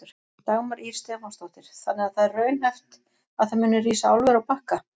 Dagmar Ýr Stefánsdóttir: Þannig að það er raunhæft að það muni rísa álver á Bakka?